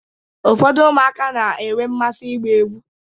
Ụfọdụ ụmụaka na-enwe mmasị ịgba egwu.